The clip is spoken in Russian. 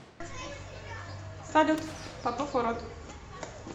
салют попов урод